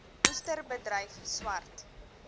oester bedryf swart